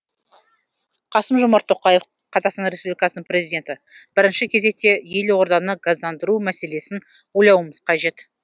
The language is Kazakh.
қасым жомарт тоқаев қазақстан республикасының президенті бірінші кезекте елорданы газдандыру мәселесін ойлауымыз қажет